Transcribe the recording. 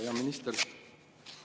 Hea minister!